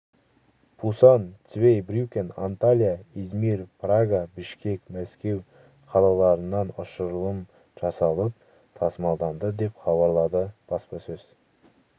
пусан цвейбрюкен анталия измир прага бішкек мәскеу қалаларынан ұшырылым жасалып тасымалданды деп хабарлады бспасөз